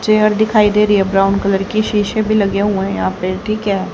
Chair दिखाई दे रही है ब्राउन कलर की शीशे भी लगे हुए हैं यहां पे ठीक है।